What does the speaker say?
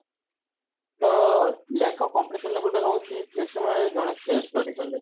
ତ lack of competition level ଟା ରହୁଛି ଯେ ସେ ଜଣେ self study କଲେ